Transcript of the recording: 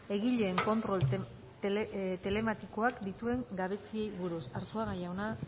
egileen kontrol telematikoak dituen gabeziei buruz arzuaga jauna